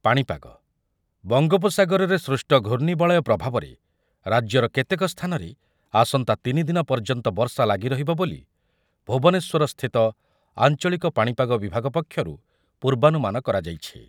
ପାଣିପାଗ ବଙ୍ଗୋପସାଗରରେ ସୃଷ୍ଟ ଘୂର୍ଣ୍ଣିବଳୟ ପ୍ରଭାବରେ ରାଜ୍ୟର କେତେକ ସ୍ଥାନରେ ଆସନ୍ତା ତିନି ଦିନ ପର୍ଯ୍ୟନ୍ତ ବର୍ଷା ଲାଗିରହିବ ବୋଲି ଭୁବନେଶ୍ୱରସ୍ଥିତ ଆଞ୍ଚଳିକ ପାଣିପାଗ ବିଭାଗ ପକ୍ଷରୁ ପୂର୍ବାନୁମାନ କରାଯାଇଛି ।